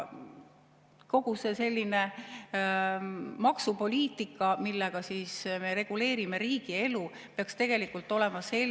Kogu see maksupoliitika, millega me reguleerime riigielu, peaks tegelikult olema selline …